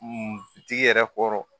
tigi yɛrɛ kɔrɔ